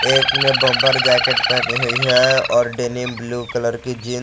एक ने bomber jacket पहनी हुई है और डेनिम ब्लू कलर की जींस --